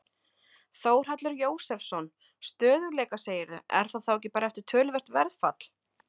Þórhallur Jósefsson: Stöðugleika segirðu, er það þá ekki bara eftir töluvert verðfall?